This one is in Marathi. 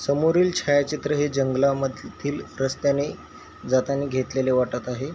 समोरील छाया चित्र हे जंगला मधील रस्त्याने जाताना घेतलेले वाटत आहे.